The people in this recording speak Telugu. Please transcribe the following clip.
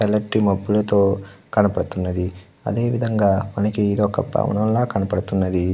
తెల్లటి మబ్బులతో కనపడుతున్నది. అదే విధముగా ఇదొక భవనంలా కనపడుతున్నది.